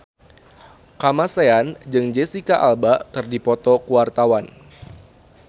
Kamasean jeung Jesicca Alba keur dipoto ku wartawan